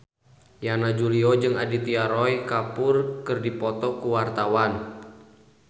Yana Julio jeung Aditya Roy Kapoor keur dipoto ku wartawan